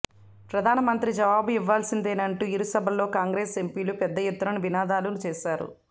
ప్రధాన మంత్రి జవాబు ఇవ్వాల్సిందేనంటూ ఇరు సభల్లో కాంగ్రెస్ ఎంపీలు పెద్ద ఎత్తున నినాదాలు చేశారు